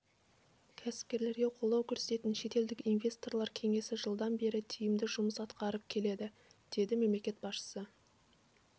кәсіпкерлерге қолдау көрсететін шетелдік инвесторлар кеңесі жылдан бері тиімді жұмыс атқарып келеді деді мемлекет басшысы